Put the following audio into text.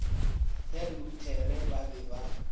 ya luthere ba be ba